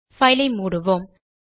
file ஐ மூடுவோம்